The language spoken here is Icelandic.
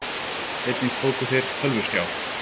Einnig tóku þeir tölvuskjá